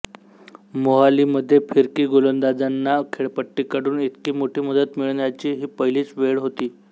मोहाली मध्ये फिरकी गोलंदाजांना खेळपट्टीकडून इतकी मोठी मदत मिळण्याची ही पहिलीच वेळ होती